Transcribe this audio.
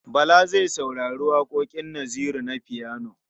Bala zai saurari waƙoƙin Naziru na fiyano.